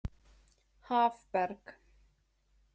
Hafberg